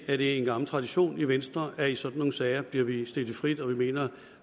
er det en gammel tradition i venstre at i sådan nogle sager bliver vi stillet frit og vi mener